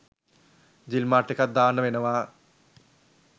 ජිල් mart එකක් දාන්න වෙනවා.